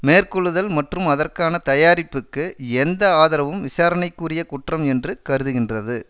மேற்கொள்ளுதல் மற்றும் அதற்கான தயாரிப்புக்கு எந்த ஆதரவும் விசாரணைக்குரிய குற்றம் என்று கருதுகின்றது